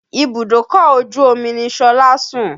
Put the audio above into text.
Ibùdókọ̀ ojú omi ni Ṣọlá ń sùn